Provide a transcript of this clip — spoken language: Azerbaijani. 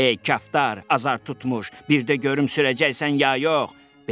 Ey kaftar, azad tutmuş, bir də görüm sürəcəksən ya yox.